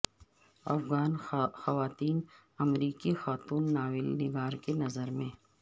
افغان خواتین امریکی خاتون ناول نگار کی نظر میں